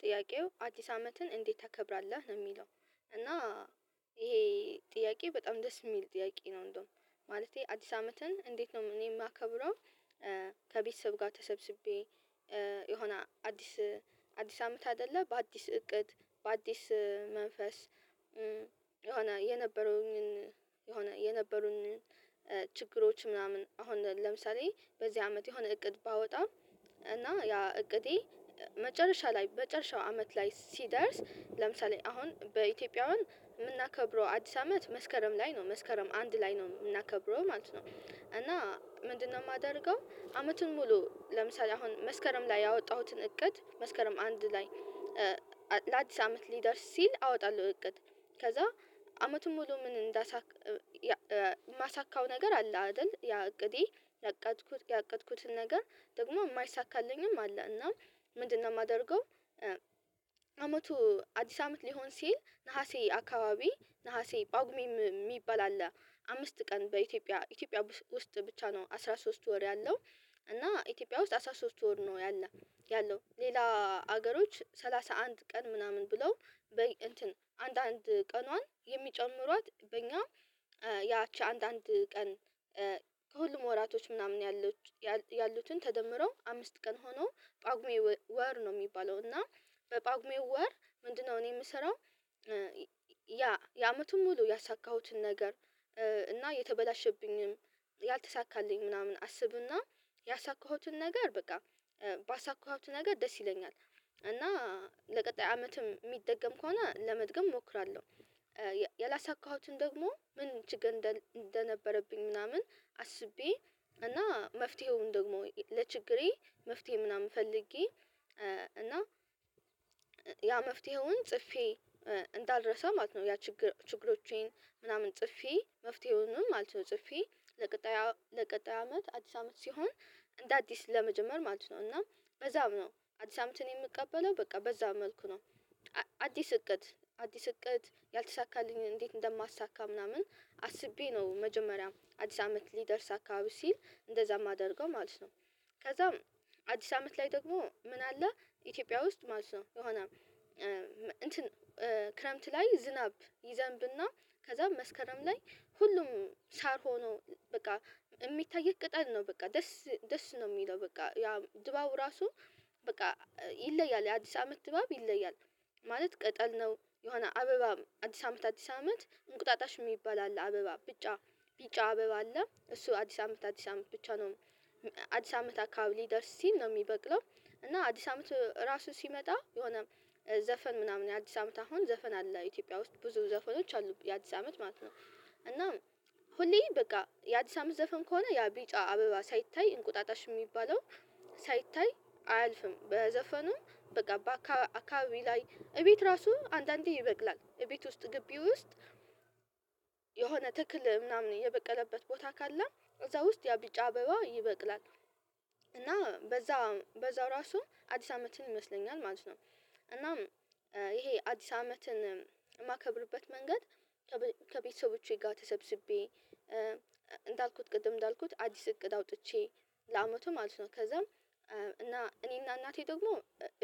ጥያቄው አዲስ አመትን እንዴት ታከብራለህ ነው የሚለው? እና ይሄ ጥያቄ በጣም ደስ የሚል ጥያቄ ነው። እንደውም ማለቴ አዲስ አመትን እንዴት ነው እኔ የማከብረው። ከቤተሰብ ጋር ተሰብስቤ የሆነ አዲስ አዲስ አመት አይደለ በአዲስ እቅድ በአዲስ መንፈስ። የሆነ የነበሩኝን የሆነ የነበሩኝን ችግሮች ምናምን አሁን ለምሳሌ በዚህ አመት የሆነ እቅድ ባወጣ እና ያ እቅዴ መጨረሻ ላይ በጨረሻው አመት ላይ ሲደርስ ለምሳሌ አሁን በኢትዮጵያውያን የምናከብረው አዲስ አመት መስከረም ላይ ነው መስከረም አንድ ላይ ነው የምናከብረው ማለት ነው። እና ምንድነው? የማደርገው አመቱን ሙሉ ለምሳሌ አሁን መስከረም ላይ ያወጣሁትን እቅድ መስከረም አንድ ላይ ላዲስ አመት ሊደርስ ሲል አወጣለሁ። እቅድ ከዛ አመቱን ሙሉ ምን እንዳሳካ። የማሳካው ነገር አለ? አይደል ያ እቅዴ ያቀጥኩት ያቀጥኩትን ነገር ደግሞ የማይሳካልኝም አለ እና ምንድነው የማደርገው? አመቱ አዲስ አመት ሊሆን ሲል ነሀሴ አካባቢ ነሀሴ ጳጉሜ የሚባል አለ አምስት ቀን በኢትዮጵያ ኢትዮጵያ ውስጥ ብቻ ነው። አስራ ሶስት ወር ያለው እና ኢትዮጵያ ውስጥ አስራ ሶስት ወር ነው ያለው። ያለው ሌላ ሀገሮች ሰላሳ አንድ ቀን ምናምን ብለው በእንትን አንዳንድ ቀኗን የሚጨምሯት በእኛ ያቺ አንዳንድ ቀን። ወራቶች ምናምን ያሉትን ተደምረው አምስት ቀን ሆኖ ጳጉሜ ወር ነው የሚባለው እና። በጳጉሜው ወር ምንድነው? እኔ የምሰራው ያ የአመቱን ሙሉ ያሳካሁትን ነገር እና የተበላሸብኝም ያልተሳካልኝ ምናምን አስብና ያሳካሁትን ነገር በቃ ባሳካሁት ነገር ደስ ይለኛል እና ለቀጣይ አመትም የሚደገም ከሆነ ለመድገም እሞክራለሁ። ያላሳካሁትን ደግሞ ምን ችግር እንደነበረብኝ ምናምን አስቤ እና መፍትሄውን ደግሞ ለችግሬ መፍትሄ ምናምን ፈልጌ እና ያ መፍትሄውን ጽፌ እንዳልረሳ ማለት ነው። ያ ችግሮቼን ምናምን ጽፌ መፍትሄውንም ማለት ነው ጽፌ ለቀጣይ አመት አዲስ አመት ሲሆን እንደ አዲስ ለመጀመር ማለት ነው። እና በዛው ነው አዲስ አመትን የምቀበለው በቃ በዛው መልኩ ነው። አዲስ እቅድ አዲስ እቅድ ያልተሳካልኝ እንዴት እንደማሳካ ምናምን አስቤ ነው። መጀመሪያ አዲስ አመት ሊደርስ አካባቢ ሲል እንደዛ የማደርገው ማለት ነው። ከዛም አዲስ አመት ላይ ደግሞ ምን አለ ኢትዮጵያ ውስጥ ማለት ነው የሆነ እንትን ክረምት ላይ ዝናብ ይዘንብና ከዛ መስከረም ላይ ሁሉም ሳር ሆኖ በቃ የሚታይ ቅጠል ነው በቃ ደስ ደስ ነው የሚለው በቃ ያ ድባቡ ራሱ በቃ ይለያል የአዲስ አመት ድባብ ይለያል። ማለት ቅጠል ነው የሆነ አበባ አዲስ አመት አዲስ አመት እንቁጣጣሽ የሚባል አለ አበባ ብጫ ቢጫ አበባ አለ እሱ አዲስ አመት አዲስ አመት ብቻ ነው። አዲስ አመት አካባቢ ሊደርስ ሲል ነው የሚበቅለው። እና አዲስ አመት ራሱ ሲመጣ የሆነ ዘፈን ምናምን አዲስ አመት አሁን ዘፈን አለ ኢትዮጵያ ውስጥ ብዙ ዘፈኖች አሉ የአዲስ አመት ማለት ነው እና ሁሌ በቃ የአዲስ አመት ዘፈን ከሆነ ያ ቢጫ አበባ ሳይታይ እንቁጣጣሽ የሚባለው ሳይታይ አያልፍም። በዘፈኑም በቃ በአካ አካባቢ ላይ እቤት ራሱ አንዳንዴ ይበቅላል እቤት ውስጥ ግቢ ውስጥ የሆነ ትክል ምናምን የበቀለበት ቦታ ካለ እዛ ውስጥ ያብጫ አበባ ይበቅላል እና በዛ በዛው ራሱ አዲስ አመትን ይመስለኛል ማለት ነው። እናም ይሄ አዲስ አመትን የማከብርበት መንገድ ከቤተሰቦቼ ጋር ተሰብስቤ እንዳልኩት ቅድም እንዳልኩት አዲስ እቅድ አውጥቼ ለአመቱ ማለት ነው። ከዛም እና እኔና እናቴ ደግሞ